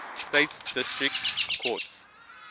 states district courts